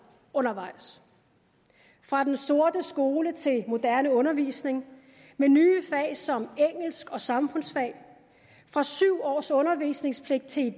undervejs fra den sorte skole til moderne undervisning med nye fag som engelsk og samfundsfag fra syv års undervisningspligt til